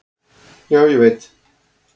"""Já, ég veit"""